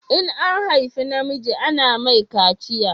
In an haifa namiji ana mai kaciya